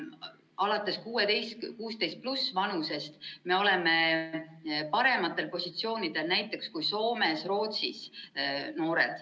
16-aastaste ja vanemate noorte kaasamises oleme parematel positsioonidel kui näiteks Soome ja Rootsi.